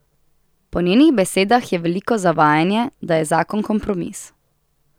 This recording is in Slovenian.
Po njenih besedah je veliko zavajanje, da je zakon kompromis.